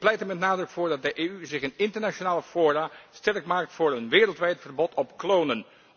Ik pleit er met nadruk voor dat de EU zich in internationale fora sterk maakt voor een wereldwijd verbod op klonen.